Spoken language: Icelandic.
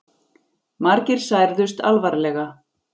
Margir særðust alvarlega